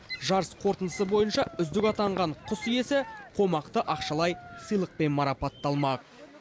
жарыс қорытындысы бойынша үздік атанған құс иесі қомақты ақшалай сыйлықпен марапатталмақ